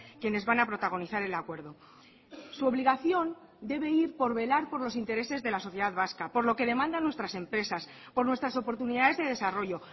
quienes van a protagonizar el acuerdo su obligación debe ir por velar por los intereses de la sociedad vasca por lo que demandan nuestras empresas por nuestras oportunidades de desarrollo